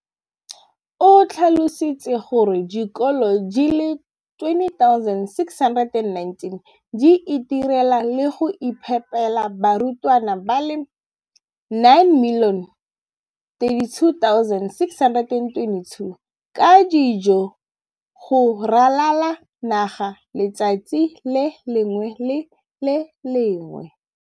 O tlhalositse gore dikolo di le 20 619 di itirela le go iphepela barutwana ba le 9 032 622 ka dijo go ralala naga letsatsi le lengwe le le lengwe.